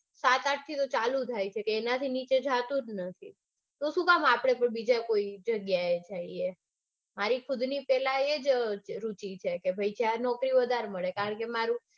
સસત આઠ થયો તો ચાલુ થાય છે. કે એનાથી નીચે તો જાતું જ નથી. તો શું કામ આપડે બીજે કોઈ જગ્યાએ જાઈયે. મારી ખુદની પેલા એજ રુચિ છે કે ભાઈ ચાહે નોકરી વધારે મળે. કારણકે